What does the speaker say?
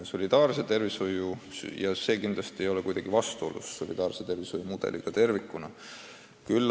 Ning see ei ole mitte kuidagi vastusolus solidaarse tervishoiusüsteemiga tervikuna.